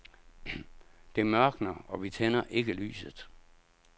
Det mørkner og vi tænder ikke lyset.